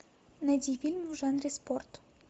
найди фильм в жанре спорт